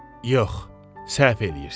Yox, səhv eləyirsiniz.